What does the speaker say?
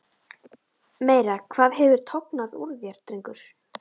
Meira hvað hefur tognað úr þér, drengur!